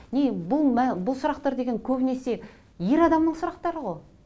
не бұл бұл сұрақтар деген көбінесе ер адамның сұрақтары ғой